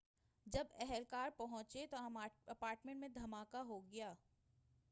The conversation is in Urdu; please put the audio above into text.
جب اہلکار پہنچنے تو اپارٹمنٹ میں دھماکہ ہو گیا